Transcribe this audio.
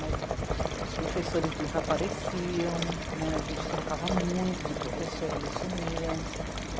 Mas, os professores desapareciam, né, a gente trocava muito de professor, eles sumiam.